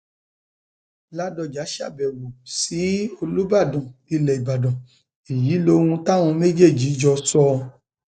ládọjá ṣàbẹwò ṣàbẹwò sí olùbàdàn ilẹ ìbàdàn èyí lohun táwọn méjèèjì jọ sọ